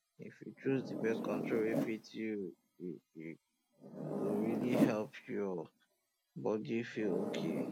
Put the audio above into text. if you choose the birth control wey fit you um go really help your um body feel okay